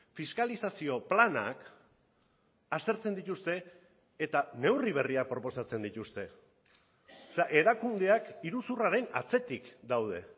fiskalizazio planak aztertzen dituzte eta neurri berriak proposatzen dituzte erakundeak iruzurraren atzetik daude